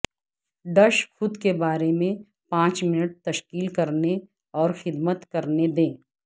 dish خود کے بارے میں پانچ منٹ تشکیل کرنے اور خدمت کرنے دیں